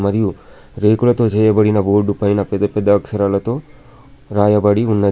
మరియు రేకులతో చేయబడిన బోర్డు పైన పెద్ద పెద్ద అక్షరాలతో రాయబడి ఉన్నది.